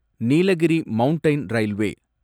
Nilgiri mountain railway